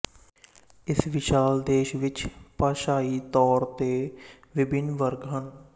ਇਸ ਵਿਸ਼ਾਲ ਦੇਸ਼ ਵਿੱਚ ਭਾਸ਼ਾਈ ਤੌਰ ਤੇ ਵਿਭਿੰਨ ਵਰਗ ਹਨ